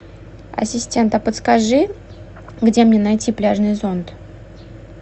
ассистент а подскажи где мне найти пляжный зонт